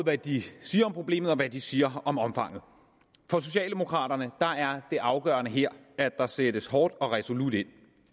hvad de siger om problemet og hvad de siger om omfanget for socialdemokraterne er det afgørende her at der sættes hårdt og resolut ind